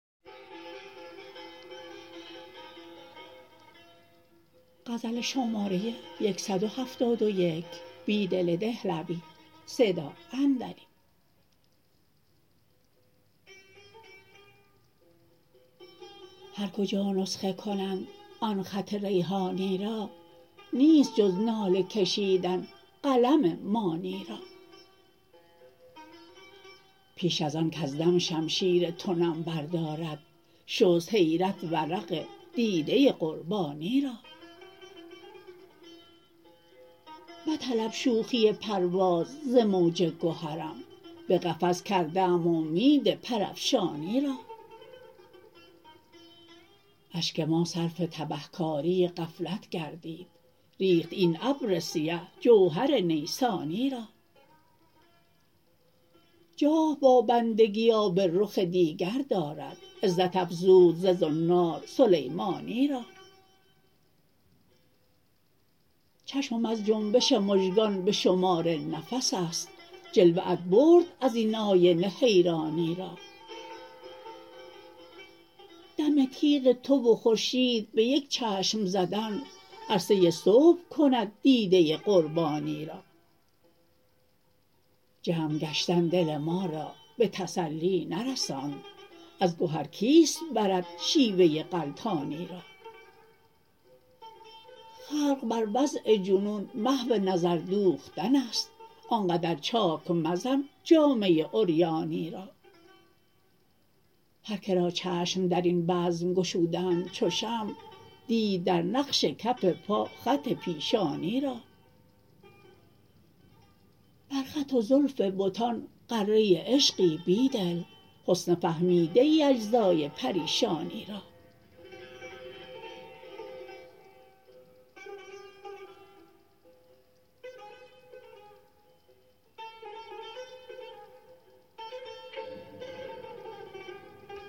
هر کجا نسخه کنند آن خط ریحانی را نیست جز ناله کشیدن قلم مانی را پیش از آن کز دم شمشیر تو نم بردارد شست حیرت ورق دیده قربانی را مطلب شوخی پرواز ز موج گهرم به قفس کرده ام امید پرافشانی را اشک ما صرف تبهکاری غفلت گردید ریخت این ابر سیه جوهر نیسانی را جاه با بندگی آب رخ دیگر دارد عزت افزود ز زنار سلیمانی را چشمم از جنبش مژگان به شمار نفس است جلوه ات برد ازین آینه حیرانی را دم تیغ تو و خورشید به یک چشم زدن عرصه صبح کند دیده قربانی را جمع گشتن دل ما را به تسلی نرساند از گهر کیست برد شیوه غلتانی را خلق بر وضع جنون محو نظردوختن است آنقدر چاک مزن جامه عریانی را هر کرا چشم درین بزم گشودند چو شمع دید در نقش کف پا خط پیشانی را برخط و زلف بتان غره عشقی بیدل حسن فهمیده ای اجزای پریشانی را